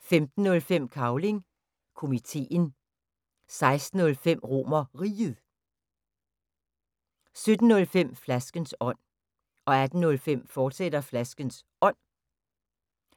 15:05: Cavling Komiteen 16:05: RomerRiget 17:05: Flaskens ånd 18:05: Flaskens Ånd, fortsat